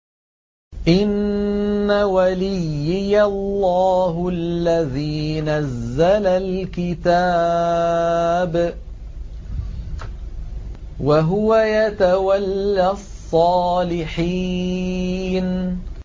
إِنَّ وَلِيِّيَ اللَّهُ الَّذِي نَزَّلَ الْكِتَابَ ۖ وَهُوَ يَتَوَلَّى الصَّالِحِينَ